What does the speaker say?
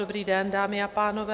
Dobrý den dámy a pánové.